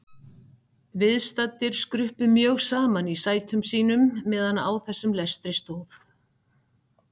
Viðstaddir skruppu mjög saman í sætum sínum meðan á þessum lestri stóð.